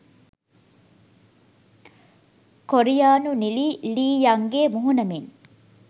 කොරියානු නිළි Lee Young ගේ මුහුණ මෙන්